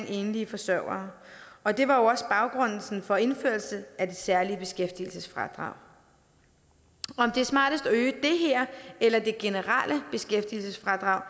enlige forsørgere og det var jo også baggrunden for indførelsen af det særlige beskæftigelsesfradrag om det er smartest at øge det her eller det generelle beskæftigelsesfradrag